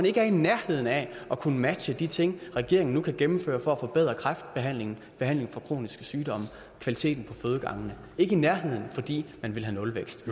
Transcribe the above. ikke i nærheden af at kunne matche de ting regeringen nu kan gennemføre for at forbedre kræftbehandlingen behandlingen af kroniske sygdomme kvaliteten på fødegangene ikke i nærheden fordi man vil have nulvækst